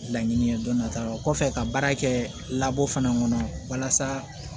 Laɲini ye dɔnta o kɔfɛ ka baara kɛ laban fana kɔnɔ walasa